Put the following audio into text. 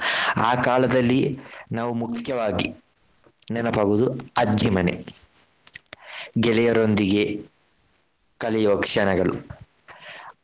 ಆ ಕಾಲದಲ್ಲಿ ನಾವು ಮುಖ್ಯವಾಗಿ ನೆನಪಾಗುವುದು ಅಜ್ಜಿ ಮನೆ, ಗೆಳೆಯರೊಂದಿಗೆ ಕಳೆಯುವ ಕ್ಷಣಗಳು.